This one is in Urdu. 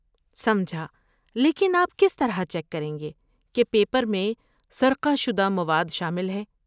سمجھا! لیکن آپ کس طرح چیک کریں گے کہ پیپر میں سرقہ شدہ مواد شامل ہے؟